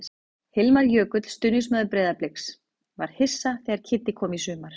Hilmar Jökull, stuðningsmaður Breiðabliks: Var hissa þegar Kiddi kom í sumar.